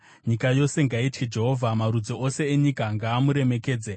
Nyika yose ngaitye Jehovha; marudzi ose enyika ngaamuremekedze.